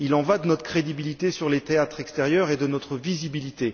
Il en va de notre crédibilité sur les théâtres extérieurs et de notre visibilité.